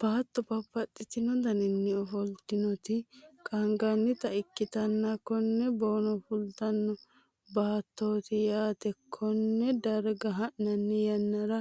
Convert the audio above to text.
baatto babbaxino daninni ofoltinoti qaangannita ikkitanna, konne boono fultino baattooti yaate, konne darga ha'nanni yannara